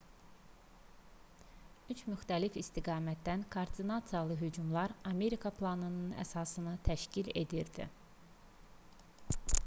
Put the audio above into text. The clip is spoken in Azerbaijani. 3 müxtəlif istiqamətdən koordinasiyalı hücumlar amerika planının əsasını təşkil edirdi